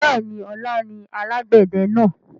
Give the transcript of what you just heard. Bẹ́ẹ̀ni, ọlá ni alàgbẹ̀dẹ náà.